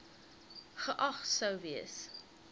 geag sou gewees